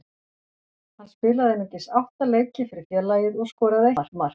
Hann spilaði einungis átta leiki fyrir félagið og skoraði eitt mark.